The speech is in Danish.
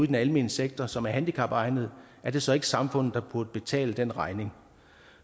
den almene sektor som er handicapegnede er det så ikke samfundet der burde betale den regning